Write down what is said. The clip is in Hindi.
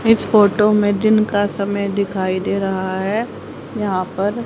इस फोटो में दिन समय दिखाई दे रहा हैं यहां पर--